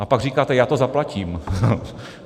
A pak říkáte: Já to zaplatím.